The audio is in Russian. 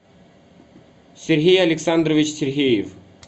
сергей александрович сергеев